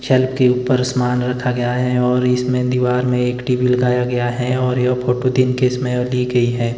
छल के ऊपर असमान रखा गया है और इसमें दीवार में एक टी_वी लगाया गया है और यह फोटो दिन के समय लि गई है।